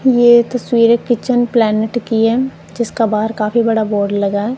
ये तस्वीर kitchen planet की है जिसका बाहर काफी बड़ा बोर्ड लगा है।